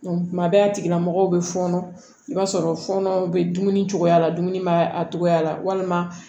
tuma bɛ a tigilamɔgɔw bɛ fɔɔnɔ i b'a sɔrɔ fɔnɔ bɛ dumuni cogoya la dumuni bɛ a togoya la walima